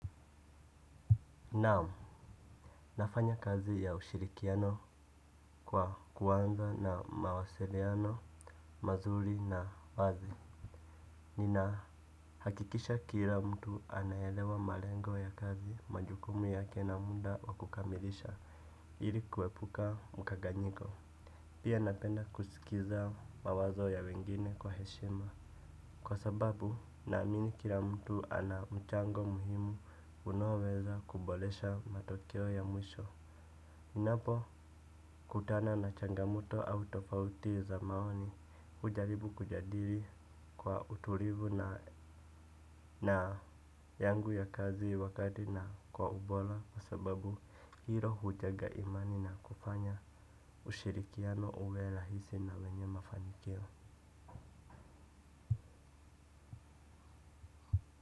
Naam, nafanya kazi ya ushirikiano kwa kuanza na mawasiliano, mazuri na wazi. Ninahakikisha kila mtu anaelewa malengo ya kazi majukumu yake na muda wa kukamilisha ili kuepuka mkanganyiko. Pia napenda kuskiza mawazo ya wengine kwa heshima. Kwa sababu, naamini kila mtu ana mchango muhimu unaoweza kuboresha matokeo ya mwisho. Ninapokutana na changamoto au tofauti za maoni ujaribu kujadili kwa utulivu na yangu ya kazi wakati na kwa ubora. Kwa sababu hilo hujenga imani na kufanya ushirikiano uwe rahisi na wenye mafanikio.